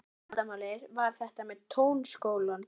Eina vandamálið var þetta með Tónskólann.